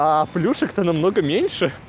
а плюшек-то намного меньше